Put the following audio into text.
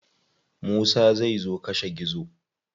Musa zai zo kashe gizo.